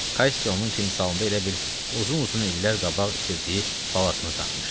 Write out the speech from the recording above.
Kassi onun timsalında elə bil uzun-uzun illər qabaq itirdiyi balasını tapmışdı.